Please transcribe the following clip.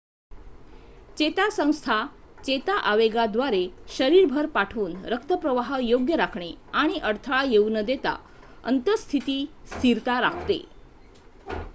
चेता संस्था चेता आवेगाद्वारे शरीरभर पाठवून रक्तप्रवाह योग्य राखणे आणि अडथळा येऊ न देता अंत:स्थितीस्थिरता राखते